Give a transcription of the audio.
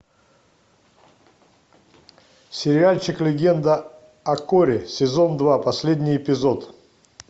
сериальчик легенда о корре сезон два последний эпизод